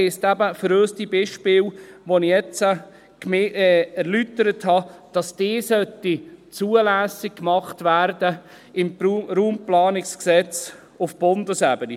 Das heisst eben für uns, dass diese Beispiele, die ich jetzt erläutert habe, im Bundesgesetz über die Raumplanung (Raumplanungsgesetz, RPG) zulässig gemacht werden.